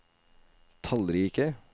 tallrike